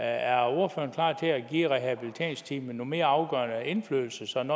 er ordføreren klar til at give rehabiliteringsteamet en mere afgørende indflydelse sådan